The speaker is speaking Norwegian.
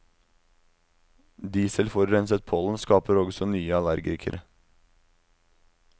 Dieselforurenset pollen skaper også nye allergikere.